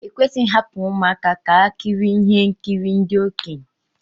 Ekwesịghị ịhapụ ụmụaka ka ha kirie ihe nkiri ndị okenye